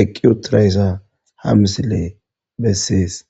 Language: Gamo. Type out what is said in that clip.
eqi utidayssa ha missiley besses.